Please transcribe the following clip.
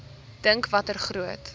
dink watter groot